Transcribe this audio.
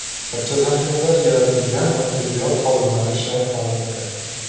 Barcha zaxiralar yaratilgan va tibbiyot xodimlari shay holatda.